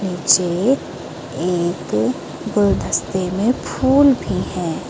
नीचे एक गुलदस्ते में फूल भी हैं।